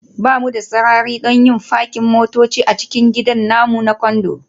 Ba mu da sarari don yin fakin motoci a cikin gidan namu na Condo